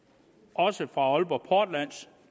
og også fra aalborg portlands